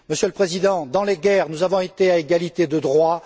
Monsieur le Président, dans les guerres, nous avons été à égalité de devoirs.